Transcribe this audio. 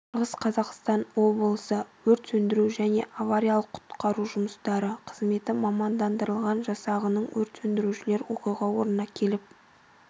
шығыс қазақстан облысы өрт сөндіру жне авариялық-құтқару жұмыстары қызметі мамандандырылған жасағының өрт сөндірушілері оқиға орнына келіп